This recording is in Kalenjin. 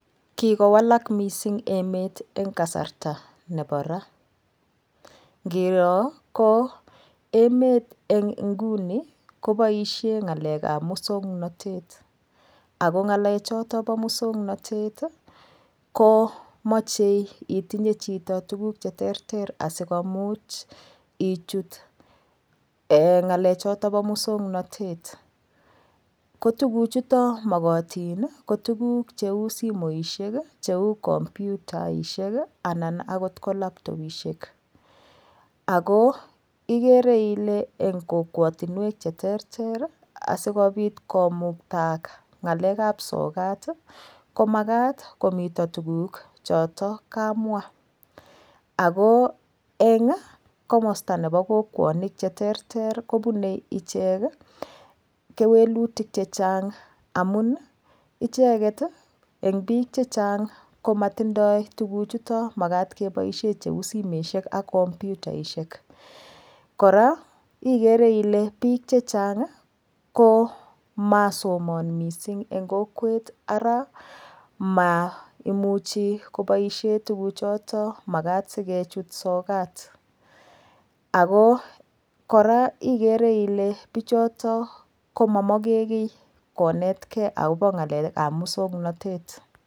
Kikowalak mising emet eng kasarta nebo Ra ngiro ko emet eng nguni koboishe ng'alek ap musongnotet ako ng'alek choto bo musongnotet ko machei itinye chito tukuk che ter ter asikomuch ichut ngalechoto bo musongnotet ko tukuchuto mokotin ko tukuk cheu simoiahek cheu komputaishek anan akot ko laptopishek ako ikere ile eng kokwotunwek che ter ter asikobit komuktaak ng'alek ap sokat ko makat komito tukuk chotok kamwa ako eng komosta nebo kokwonik che ter ter kobunei ichek kewelutik che chang amun icheket eng biik che chang komatindoi tukuk chuto makat keboishe cheu simeshek ak komputaishek kora ikere ile biik che chang komasomon mising eng kokwet ara maimuchi koboishe tukuchoton makat sikechut sokat ako kora igere ile biichoto koma moke kiy konetkei akobo ng'alek ap musongnotet.